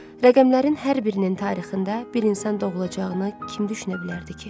Rəqəmlərin hər birinin tarixində bir insan doğulacağını kim düşünə bilərdi ki?